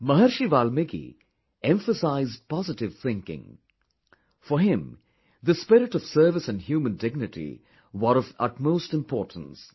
Maharishi Valmiki emphasized positive thinking for him, the spirit of service and human dignity were of utmost importance